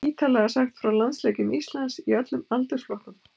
Ítarlega sagt frá landsleikjum Íslands í öllum aldursflokkum.